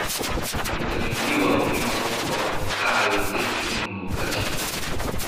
Faytamiin D waa muhiim sababtoo ah wuxuu ka caawiyaa jirka inuu nuugo calcium.